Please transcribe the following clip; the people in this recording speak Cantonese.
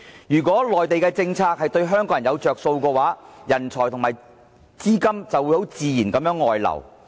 如果內地的政策對香港人有"着數"的話，香港的人才和資金就自然會外流。